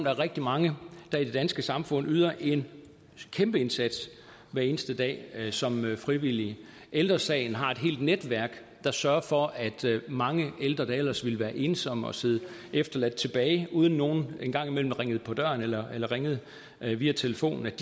er rigtig mange der i det danske samfund yder en kæmpe indsats hver eneste dag som frivillig ældre sagen har et helt netværk der sørger for at mange ældre der ellers ville være ensomme og sidde efterladt tilbage uden nogen en gang imellem ringede på døren eller eller ringede via telefonen ikke